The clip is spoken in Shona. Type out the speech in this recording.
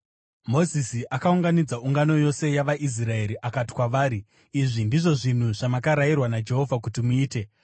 Mozisi akaunganidza ungano yose yavaIsraeri akati kwavari, “Izvi ndizvo zvinhu zvamakarayirwa naJehovha kuti muite: